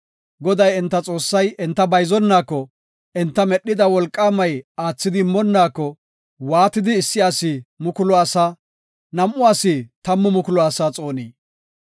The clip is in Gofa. Goday enta Xoossay enta bayzonaako, enta medhida Wolqaamay aathidi immonaako, waatidi issi asi mukulu asaa, num7u asi tammu mukulu asaa xoonii?